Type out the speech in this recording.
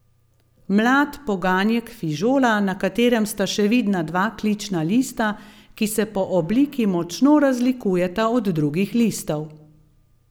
Mlad poganjek fižola, na katerem sta še vidna dva klična lista, ki se po obliki močno razlikujeta od drugih listov.